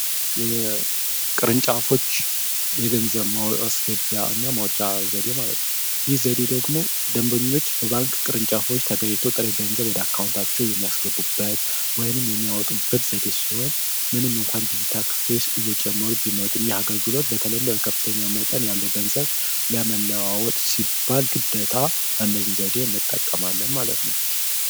የቅርንጫፎች የገንዘብ ማስገቢያ እና ማውጫ ዘዴ ማለትን ይህ ዘዴ ደግሞ ደንበኞች በባንክ ቅርንጫፎች ተጋይቶ ጥሬ ገንዘብ ወደ አካውንታቸው የሚያስገቡበት ወይንም የሚያወጡበት ዘዴ ሲሆን ምንም እንኳን ዲዜታ ክፊርስ እየጨመሩ ቢመጡም ይህ አገልግሎት በተለይም በበከፍተኛ መጠን ያለው ገንዘብ ለመለዋወት ሲባል ግደታ አንነዚህን ዘዴ እንጠቀማለ ማለት ነው።